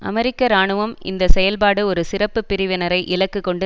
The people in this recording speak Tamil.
அமெரிக்க இராணுவம் இந்த செயல்பாடு ஒரு சிறப்பு பிரிவினரை இலக்கு கொண்டு